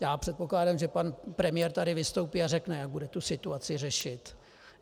Já předpokládám, že pan premiér tady vystoupí a řekne, jak bude tu situaci řešit.